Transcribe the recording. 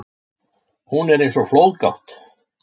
Hún er eins og flóðgátt.